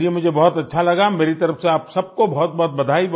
चलिए मुझे बहुत अच्छा लगा मेरी तरफ से आप सबको बहुतबहुत बधाई